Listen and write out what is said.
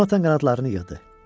Jonathan qanadlarını yığdı.